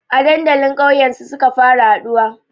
A dandalin kauyen su suka fara haɗuwa